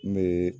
N bɛ